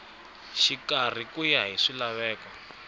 xikarhi ku ya hi swilaveko